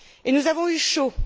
Nous avons eu chaud